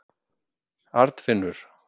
Arnfinnur